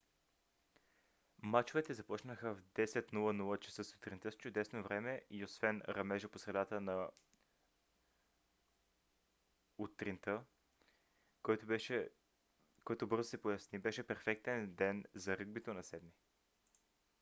мачовете започнаха в 10: 00 ч.сутринта с чудесно време и освен ръмежа по средата на утринта който бързо се проясни беше перфектен ден за ръгбито на 7 - ми